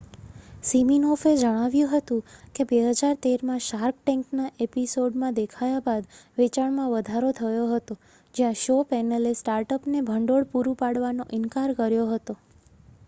સિમિનોફે જણાવ્યું હતું કે 2013માં શાર્ક ટેન્કના એપિસોડમાં દેખાયા બાદ વેચાણમાં વધારો થયો હતો જ્યાં શો પેનલે સ્ટાર્ટઅપને ભંડોળ પૂરું પાડવાનો ઇનકાર કર્યો હતો